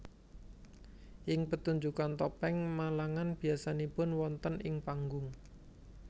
Ing petunjukan Topeng Malangan biasanipun wonten ing panggung